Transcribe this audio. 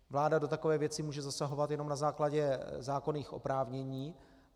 Vláda do takové věci může zasahovat jenom na základě zákonných oprávnění.